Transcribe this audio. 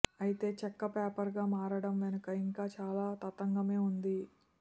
అయితే చెక్క పేపర్గా మారడం వెనుక ఇంకా చాలా తతంగమే ఉంది